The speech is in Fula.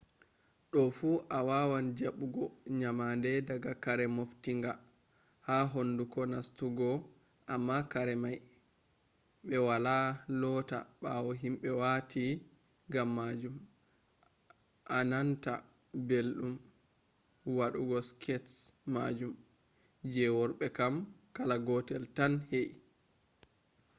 do fu awawan jabugo nyamande daga kare moftinga ha hunduko nastugo amma karemai be wala lota bawo himbe wati gammajum a nanta beldum wadugo skirts majum. je worbe kam kala gotel tan he'i